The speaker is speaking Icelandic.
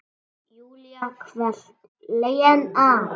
Júlía hvellt: Lena!